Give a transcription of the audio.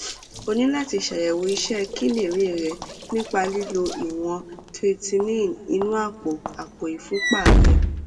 o ní láti ṣàyẹwò iṣẹ kíndìnrín rẹ nípa lílo ìwọn creatinine inú àpò àpò ìfúnpá rẹ